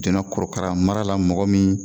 Joona korokara mara la mɔgɔ min